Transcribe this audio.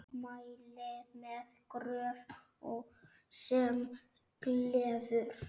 Mæli með Gröf sem gleður.